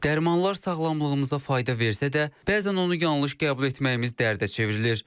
Dərmanlar sağlamlığımıza fayda versə də, bəzən onu yanlış qəbul etməyimiz dərdə çevrilir.